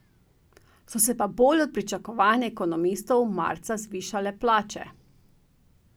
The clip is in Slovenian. So se pa bolj od pričakovanj ekonomistov marca zvišale plače.